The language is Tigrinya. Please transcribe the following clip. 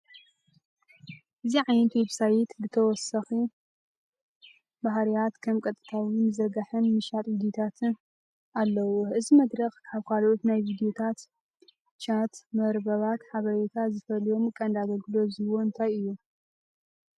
እዚ ዓይነት ዌብሳይት ተወሳኺ ባህርያት ከም ቀጥታዊ ምዝርጋሕን ምሻጥ ቪድዮታትን ኣለዎ። እዚ መድረኽ ካብ ካልኦት ናይ ቪድዮ ቻት መርበባት ሓበሬታ ዝፈልዮም ቀንዲ ኣገልግሎታት ዝህቦም እንታይ እዮም?